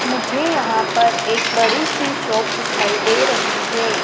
मुझे यहां पर एक बड़ी सी शॉप दिखाई दे रही हैं।